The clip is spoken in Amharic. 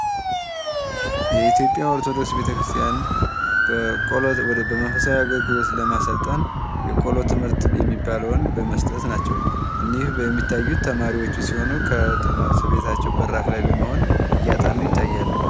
የኢትዮጵያ ኦርቶዶክስ ቤተክርስቲያን በመንፈሳዊ አገልግሎት ለማሰልጠን የቆሎ ትምህርት የሚባለውን በመስጠት ናቸዉ። እኒህ የሚታዩት ተማሪዎቹ ሲሆኑ ከቤታቸው በራፍ ላይ በመሆን እያጠኑ ይታያሉ።